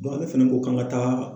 ale fɛnɛ ko k'an ka taa